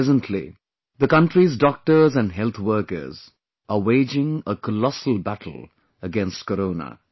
presently, the country's doctors and health workers are waging a colossal battle against Corona